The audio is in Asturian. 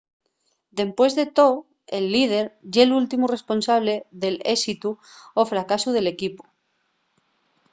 dempués de too el líder ye’l últimu responsable del ésitu o fracasu del equipu